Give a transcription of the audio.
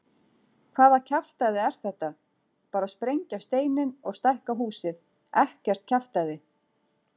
Hvaða kjaftæði er þetta, bara sprengja steininn og stækka húsið, ekkert kjaftæði.